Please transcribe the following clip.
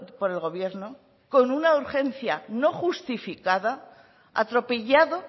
por el gobierno con una urgencia no justificada atropellado